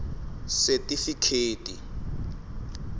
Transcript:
setifikheti